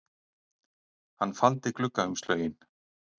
Hann faldi gluggaumslögin